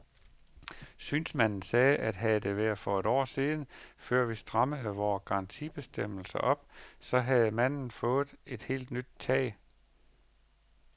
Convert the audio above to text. Synsmanden sagde, at havde det her været for et år siden, før vi strammede vore garantibestemmelser op, så havde manden fået et helt nyt tag.